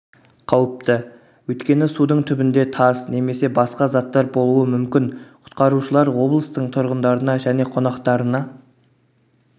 қауіпті өйткені судың түбінде тас немесе басқа заттар болуы мүмкін құтқарушылар облыстың тұрғындарына және қонақтарына